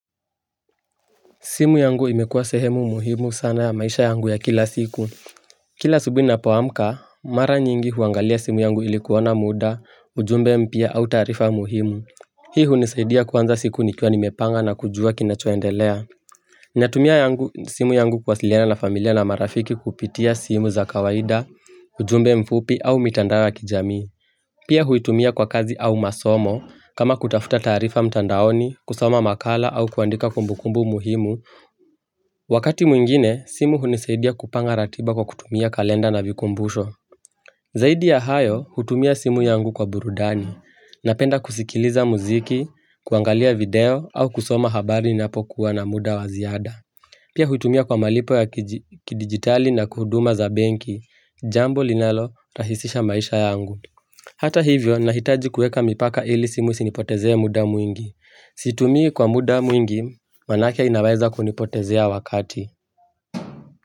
Simu yangu imekuwa sehemu muhimu sana ya maisha yangu ya kila siku. Kila subuhi napoamka, mara nyingi huangalia simu yangu ilikuona muda, ujumbe mpia au tarifa muhimu. Hii hunisaidia kwanza siku nikwa nimepanga na kujua kinachoendelea. Ninatumia simu yangu kwasiliana na familia na marafiki kupitia simu za kawaida, ujumbe mfupi au mitanda wa kijami. Pia huitumia kwa kazi au masomo kama kutafuta tarifa mtandaoni, kusoma makala au kuandika kumbukumbu muhimu. Wakati mwingine, simu hunisaidia kupanga ratiba kwa kutumia kalenda na vikumbusho Zaidi ya hayo, hutumia simu yangu kwa burudani Napenda kusikiliza muziki, kuangalia video, au kusoma habari napokuwa na muda waziada Pia hutumia kwa malipo ya kidigitali na kuhuduma za benki, jambo linalo rahisisha maisha yangu Hata hivyo, nahitaji kueka mipaka ili simu sinipotezea muda mwingi Situmii kwa muda mwingi, wanake inawaeza kunipotezea wakati.